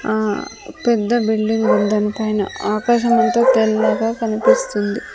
ఆ పెద్ద బిల్డింగ్ ఉంది దాని పైన ఆకాశం అంతా తెల్లగా కనిపిస్తుంది.